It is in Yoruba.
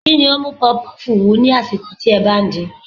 Kí ni ó ń mú pọfupọ́ọ̀fù wú lásìkò tí ẹ bá ń din?